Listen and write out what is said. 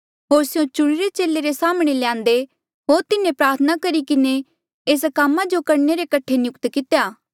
होर स्यों चुणिरे चेले रे साम्हणें ल्यान्दे होर तिन्हें प्रार्थना करी किन्हें एस कामा जो करणे रे कठे नियुक्त कितेया